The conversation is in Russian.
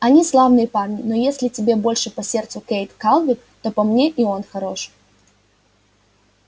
они славные парни но если тебе больше по сердцу кэйд калверт то по мне и он хорош